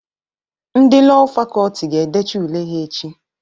Ndị Lọọ Fakọlti ga-edecha ule ha echi